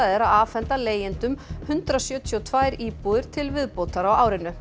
er að afhenda leigjendum hundrað sjötíu og tvær íbúðir til viðbótar á árinu